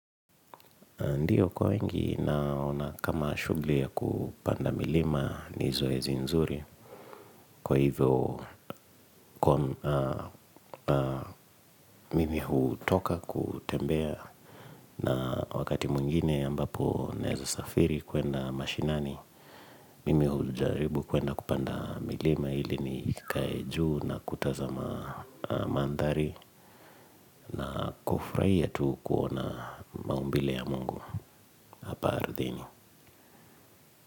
Ndiyo kwa wengi naona kama shughuli ya kupanda milima ni zoezi nzuri. Kwa hivyo mimi hutoka kutembea na wakati mwingine ambapo naezo safiri kuenda mashinani. Mimi hujaribu kuenda kupanda milima ili nikae juu na kuta za mandhari. Na kufurahia tu kuona maumbile ya mungu hapa ardhini.